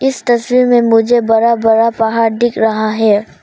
इस तस्वीर में मुझे बड़ा बड़ा पहाड़ दिख रहा है।